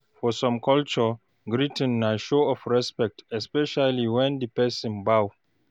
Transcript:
For some culture, greeting na show of respect especially when di person bow